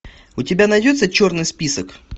у тебя найдется черный список